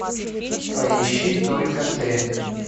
поищи только ты